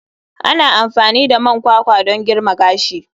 Ana amfani da man kwakwa don girma gashi.